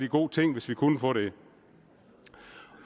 god ting hvis vi kunne få det